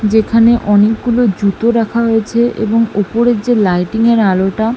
যেখানে অনেকগুলো জুতো রাখা হয়েছে এবং উপরের যে লাইটিংয়ের আলোটা --